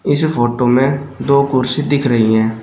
इस फोटो में दो कुर्सी दिख रही हैं।